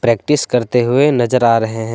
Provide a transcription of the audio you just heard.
Practice करते हुए नजर आ रहे हैं।